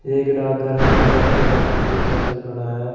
एक डाकघर है डाकघर के बाहर कुछ साइकिल खड़ा है।